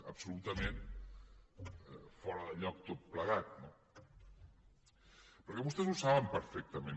absolutament fora de lloc tot plegat no perquè vostès ho saben perfectament